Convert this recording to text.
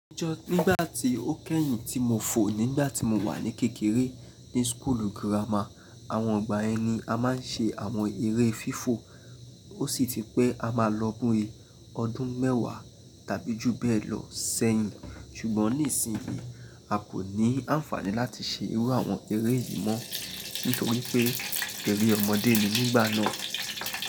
Ńjọ́ nígbà tí ó kẹ́yìn tí mo fò nígbà tí mo wà ní kékeré ní skulu girama, àwọn ọgbà ẹni a máa ń ṣe àwọn eré fífò ó sì ti pẹ́ a máa bíi ọdún mẹ́wàá tàbí jù bẹ́ẹ̀ lọ ṣẹ́yìn. Ṣùgbọ́n nísìnyí a kò ní àǹfààní láti ṣe irú àwọn eré yìí mọ́ nítorí pé eré ọmọdé ni nígbà náà.